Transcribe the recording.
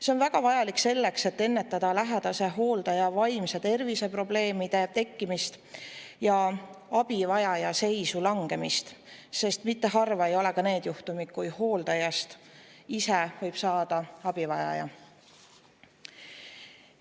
See on väga vajalik selleks, et ennetada lähedase hooldajal vaimse tervise probleemide tekkimist ja abivajaja seisu langemist, sest mitte harvad ei ole ka need juhtumid, kui hooldajast saab abivajaja.